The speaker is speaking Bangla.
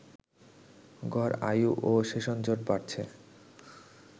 গড় আয়ু ও সেশনজট বাড়ছে